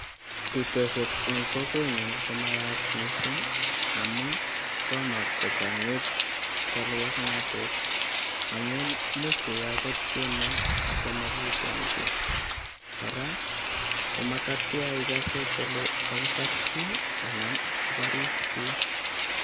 Bitoshek en kokwenyun komayach mising amun tomo kochang'it cholwoknotet. Amun imuch iwe agot kemoe ago mogiiten kiy. Kora komatatya igose kele kakibar chi anan koboriis chi.